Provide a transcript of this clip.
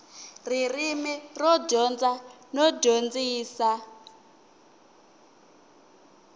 ririmi ro dyondza no dyondzisa